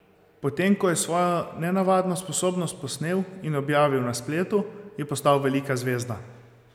Potem ko je svojo nenavadno sposobnost posnel in objavil na spletu, je postal velika zvezda.